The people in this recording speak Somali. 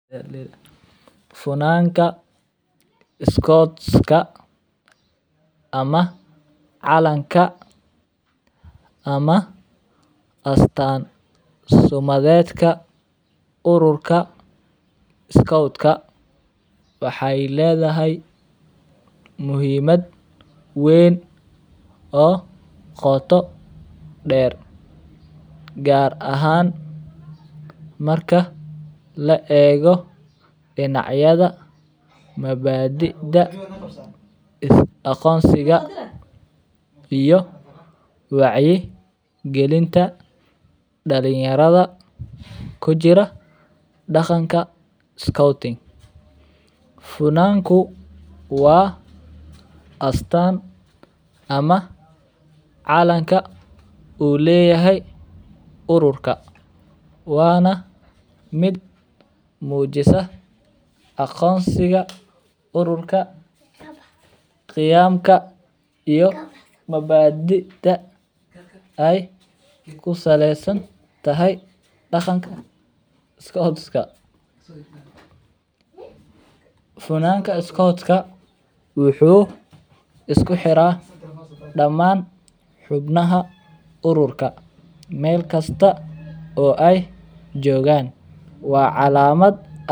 Funadka scout ama calanka ama astan sumadedka urka scout kawaxee ledhahay muhiimad weyn oo qoto der gar ahan marka la ego dinacyada mabadiida aqonsiga iyo wacyi galinta dalin yaradha kujira scouting funanku waa astan ama calanka u leyahay ururka wana miid mujisa aqonsiga ururka qiyamka iyo mabadida ee kusalesantahy daqanka scout ka funanka iskodka wuxuu isku xiraa xubnaha ururka meel kasta oo ee jogan waa calamaad.